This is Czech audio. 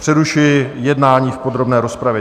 Přerušuji jednání v podrobné rozpravě.